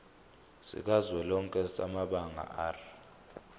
sikazwelonke samabanga r